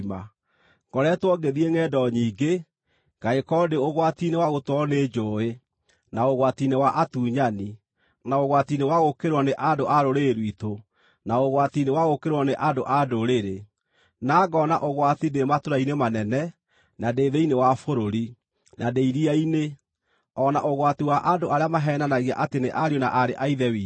Ngoretwo ngĩthiĩ ngʼendo nyingĩ. Ngagĩkorwo ndĩ ũgwati-inĩ wa gũtwarwo nĩ njũũĩ, na ũgwati-inĩ wa atunyani, na ũgwati-inĩ wa gũũkĩrĩrwo nĩ andũ a rũrĩrĩ rwitũ, na ũgwati-inĩ wa gũũkĩrĩrwo nĩ andũ-a-Ndũrĩrĩ; na ngoona ũgwati ndĩ matũũra-inĩ manene, na ndĩ thĩinĩ wa bũrũri, na ndĩ iria-inĩ; o na ũgwati wa andũ arĩa maheenanagia atĩ nĩ ariũ na aarĩ a Ithe witũ.